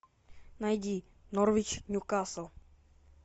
найди норвич ньюкасл